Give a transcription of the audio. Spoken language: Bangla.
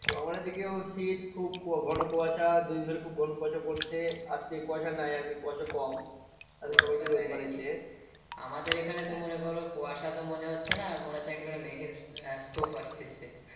আমার এই দিকেও শীত খুব ঘন কুয়াশা দুইদিন ধরে খুব ঘন কুয়াশা পড়ছে আজকে কুয়াশা নাই আজ কে কুয়াশা কম আমাদের এখানে তো মনে করো কুয়াশা তো মনে হচ্ছে না মনে হচ্ছে একটা করে মেঘের টোপ আসতেছে।